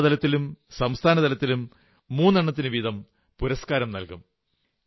ജില്ലാ തലത്തിലും സംസ്ഥാനതലത്തിലും മൂന്നെണ്ണത്തിനുവീതം പുരസ്കാരം നല്കും